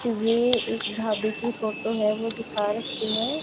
ये एक ढाबे की फोटो है ओ दिखा रखी है।